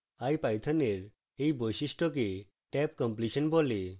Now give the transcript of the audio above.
ipython এর এই বৈশিষ্ট্যকে tabcompletion বলে